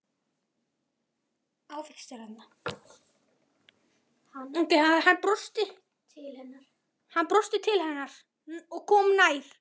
Hann brosti til hennar og hún kom nær.